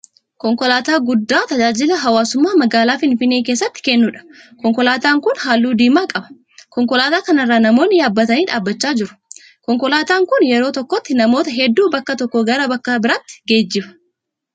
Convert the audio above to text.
Konkolaataa guddaa tajaajila hawwaasummaa magaalaa Finfinnee keessatti kennuudha. Konkolaataan kun halluu diimaa qaba. Konkolaataa kana irra namoonni yaabbatanii dhaabbachaa jiru. Konkolaataan kun yeroo tokkotti namoota hedduu bakka tokkoo gara bakka biraatti geejjiba.